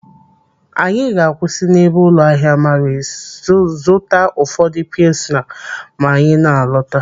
Anyị ga-akwụsị n'ebe ụlọ ahịa Maris zụta ụfọdụ pilsner ma anyị na-alọta.